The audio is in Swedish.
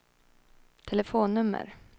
telefonnummer